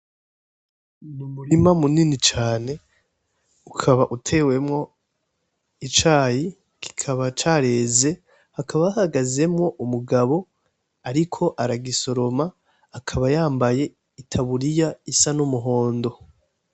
Umurima munini cane ukaba utewemwo icayi, kikaba careze. Hakaba hahagazemwo umugabo ariko aragisoroma, akaba yambaye itaburiya isa n'umuhondo.